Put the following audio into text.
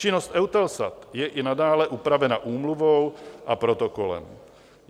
Činnost EUTELSAT je i nadále upravena Úmluvou a Protokolem.